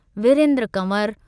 Virendra Kanwar